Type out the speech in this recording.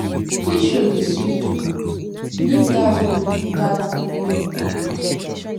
dis show dey sweet o leave dat o leave dat book wey you dey read